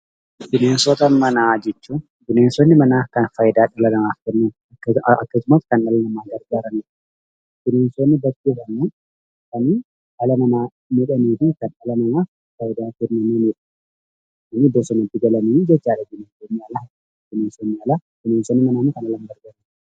Bineensota manaa jechuun, bineensota kan fayidaa dhala namaatiif kennan akkasumas kan nama gargaaranidha. Bineensonni kunis bakka lamatti qoodna isaanis kan dhala namaa fayyadanii fi kan dhala namaa miidhan bineensonni manaa kan manatti galan yoo ta'u, bineensonni bosonaa immoo kan alatti galanidh.